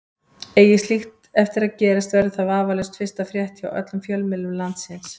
Eigi slíkt eftir að gerast verður það vafalaust fyrsta frétt hjá öllum fjölmiðlum landsins.